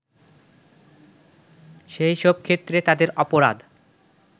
সেই সব ক্ষেত্রে তাদের অপরাধ